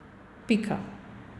Pika.